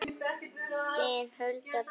Þín Hulda Birna.